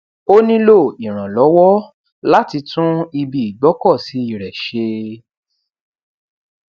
ó nílò ìrànlọwọ láti tún ibi ìgbọkọsí rẹ ṣe